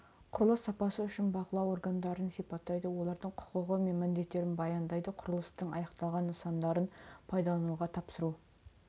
құрылыс сапасы үшін бақылау органдарын сипаттайды олардың құқығы мен міндеттерін баяндайды құрылыстың аяқталған нысандарын пайдалануға тапсыру